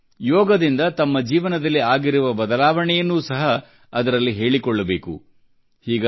ಮತ್ತು ಯೋಗದಿಂದ ತಮ್ಮ ಜೀವನದಲ್ಲಿ ಆಗಿರುವ ಬದಲಾವಣೆಯನ್ನು ಸಹ ಅದರಲ್ಲಿ ಹೇಳಿಕೊಳ್ಳಬೇಕು